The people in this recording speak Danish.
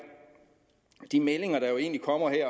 de meldinger der jo egentlig kommer her